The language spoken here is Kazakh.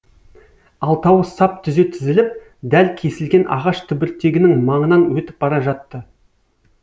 алтауы сап түзе тізіліп дәл кесілген ағаш түбіртегінің маңынан өтіп бара жатты